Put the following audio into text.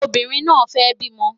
Obìnrin náà fẹ́ bímọ